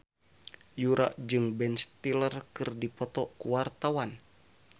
Yura jeung Ben Stiller keur dipoto ku wartawan